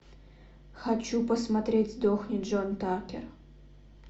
хочу посмотреть сдохни джон такер